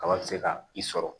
Kalan bɛ se ka i sɔrɔ